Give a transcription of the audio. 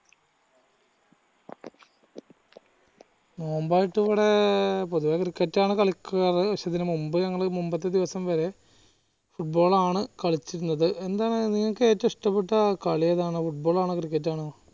നോമ്പ് ആയിട്ട് ഇവിടെ പൊതുവെ cricket ആണ് കളിക്കാർ പക്ഷെ ഇതിന് മുൻപ് ഞങ്ങൾ മുമ്പത്തെ ദിവസം വരെ football ആണ് കളിച്ചിരുന്നത് എന്താ നിങ്ങള്ക് ഏറ്റവും ഇഷ്ടപെട്ട കളിയേതാണ് football ആണോ cricket ആണോ